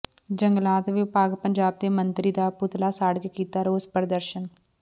ਜੰਗਲਾਤ ਵਿਭਾਗ ਪੰਜਾਬ ਦੇ ਮੰਤਰੀ ਦਾ ਪੁੱਤਲਾ ਸਾੜ ਕੇ ਕੀਤਾ ਰੋਸ ਪ੍ਰਦਰਸ਼ਨ